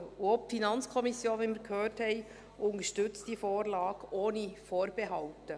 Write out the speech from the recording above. Auch die FiKo unterstützt – wie wir gehört haben – diese Vorlage ohne Vorbehalte.